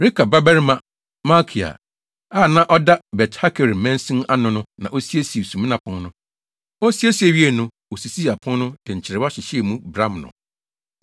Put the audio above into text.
Rekab babarima Malkia a na ɔda Bet-Hakerem mansin ano no na osiesiee Sumina Pon no. Osiesie wiei no, osisii apon no, de nkyerewa hyehyɛɛ mu, bram no.